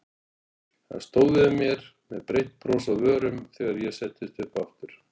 Hann stóð yfir mér með breitt bros á vörunum þegar ég settist upp aftur.